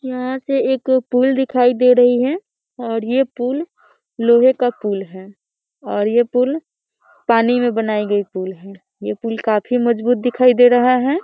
यहाँ से एक पुल दिखाई दे रही है और ये पुल लोहे का पुल है और ये पुल पानी में बनाई गई पुल है ये पुल काफ़ी मजबूत दिखाई दे रहा है।